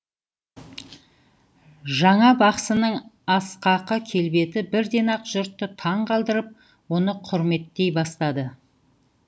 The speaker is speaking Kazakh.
жаңа бақсының асқақы келбеті бірден ақ жұртты таң қалдырып оны құрметтей бастады